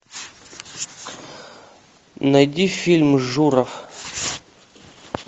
найди фильм журов